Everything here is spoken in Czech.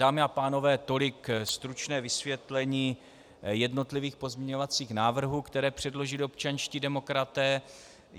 Dámy a pánové, tolik stručné vysvětlení jednotlivých pozměňovacích návrhů, které předložili občanští demokraté.